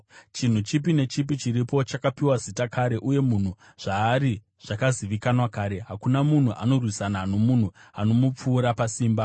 Chinhu chipi nechipi chiripo chakapiwa zita kare, uye munhu zvaari zvakazivikanwa kare; hakuna munhu anorwisana nomunhu anomupfuura pasimba.